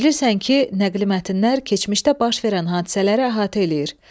Bilirsən ki, nəqli mətnlər keçmişdə baş verən hadisələri əhatə eləyir.